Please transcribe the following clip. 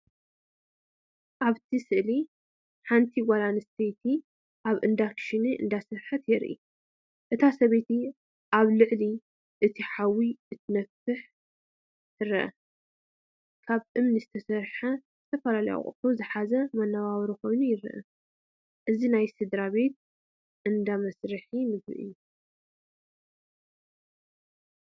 ኣብቲ ስእሊ ሓንቲ ጓል ኣንስተይቲ ኣብ እንዳ ክሽነ እንዳሰርሐት የርኢ። እታ ሰበይቲ ኣብ ልዕሊ እቲ ሓዊ ክትነፍሕ ትርአ። ካብ እምኒ ዝተሰርሐን ዝተፈላለዩ ኣቑሑት ዝሓዘን መነባብሮ ኮይኑ ይረአ። እዚ ናይ ስድራቤት እንዳ መስርሒ ምግቢ እዩ።